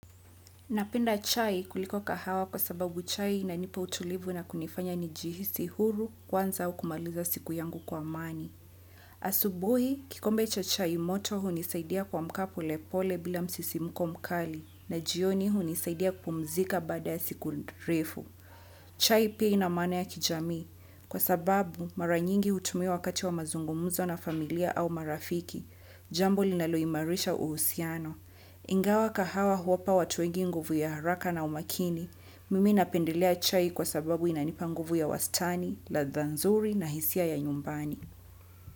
Napenda chai kuliko asubuhi, kikombe cha chai moto hunisaidia kuamka polepole bila msisimko mkali na jioni hunisaidia kupumzika baada ya siku refu. Chai pia ina maana ya kijamii kwa sababu maranyingi hutumia wakati wa mazungumuzo na familia au marafiki. Jambo linaloimarisha uhusiano. Ingawa kahawa huwapa watu wengi nguvu ya haraka na umakini, mimi napendelea chai kwa sababu inanipanguvu ya wastani, ladha nzuri na hisia ya nyumbani.